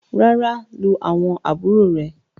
ràrá lu awọn àbúrò rẹ.